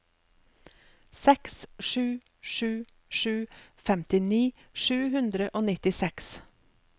seks sju sju sju femtini sju hundre og nittiseks